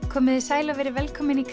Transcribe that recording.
komiði sæl og verið velkomin í